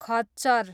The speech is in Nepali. खच्चर